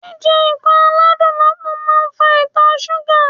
Jíjẹ nǹkan aládùn lọ́pọ̀ máa ń fa Ìtọ̀ súgà.